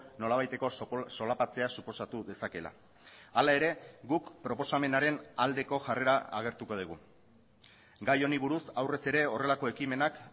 nolabaiteko solapatzea suposatu dezakeela hala ere guk proposamenaren aldeko jarrera agertuko dugu gai honi buruz aurrez ere horrelako ekimenak